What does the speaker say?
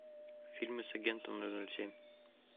фильмы с агентом ноль ноль семь